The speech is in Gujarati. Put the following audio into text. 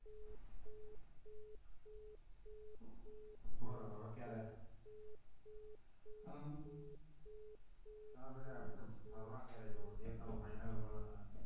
બોલો હવે ક્યારે હમ આ આપણે ફરવા ક્યારે જવું છે એ તમે final બોલો ને